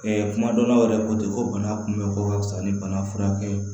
kuma dɔw la o yɛrɛ ko ten ko bana kunbɛ ko ka fisa ni bana furakɛ ye